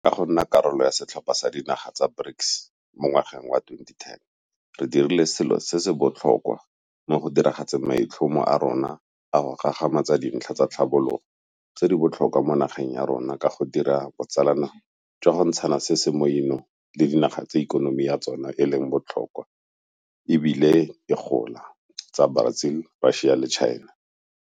Ka go nna karolo ya setlhopha sa dinaga tsa BRICS mo ngwageng wa 2010 re dirile selo se se botlhokwa mo go diragatseng maitlhomo a rona a go gagamatsa dintlha tsa tlhabologo tse di botlhokwa mo nageng ya rona ka go dira botsalano jwa go ntshana se se mo 'inong le dinaga tse ikonomi ya tsona e leng bo tlhokwa e bile e gola tsa Brazil, Russia, India le China.